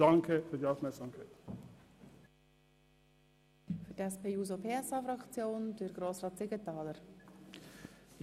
Lieber Hubert Klopfenstein, ich merke es schon jetzt: